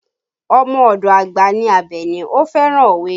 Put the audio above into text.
Ọmọ ọdọ àgbà ní Abeni, ó fẹ́ràn òwe